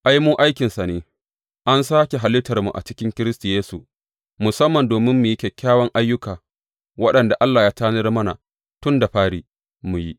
Ai, mu aikinsa ne, an sāke halittarmu a cikin Kiristi Yesu musamman domin mu yi kyawawan ayyuka, waɗanda Allah ya tanadar mana tun da fari, mu yi.